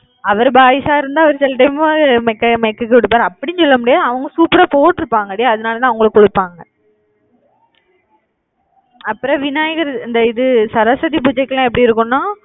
அவர் boys ஆ இருந்தா அவர் சில time உம் MECH க்கு MECH க்கு கொடுப்பாரு அப்படியும் சொல்ல முடியாது. அவங்க super ஆ போட்டிருப்பாங்க டி அதனாலதான் அவங்களுக்கு கொடுப்பாங்க அப்புறம் விநாயகர் இந்த இது சரஸ்வதி பூஜைக்கெல்லாம் எப்படி இருக்கும்ன்னா